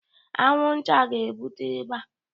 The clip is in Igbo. Anwụnta ga-ebute ịba